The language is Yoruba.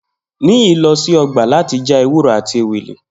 Niyi lo si ogba lati fa ewuro ati ewele.